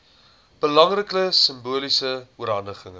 belangrike simboliese oorhandiging